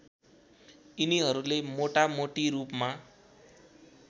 यिनीहरूले मोटामोटी रूपमा